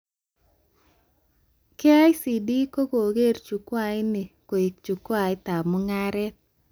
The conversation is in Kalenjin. KICD kokeree chukwait ni kou chukwaitab mugaret